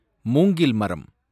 மூங்கில் மரம்